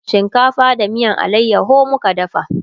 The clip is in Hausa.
shinkafa da miyan alayaho muka dafa